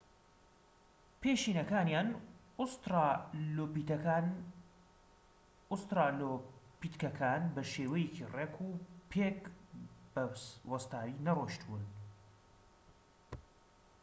پێشینەکانیان، ئوسترالۆپیتکەکان بە شێوەیەکی ڕێک و پێک بە وەستاوی نەڕۆیشتوون‎